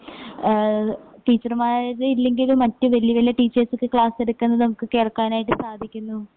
ഏഹ് ടീച്ചർമാര് ഇല്ലെങ്കിലും മറ്റു വല്ല്യ വല്ല്യ ടീച്ചേഴ്‌സൊക്കെ ക്ലാസ്സ് എടുക്കുന്നത് നമുക്ക് കേൾക്കാനായിട്ട് സാധിക്കുന്നു.